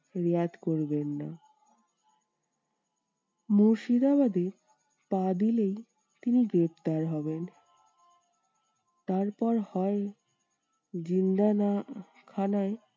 রেয়াত করবেন না। মুর্শিদাবাদে পা দিলেই তিনি গ্রেপ্তার হবেন। তারপর হয় খানায়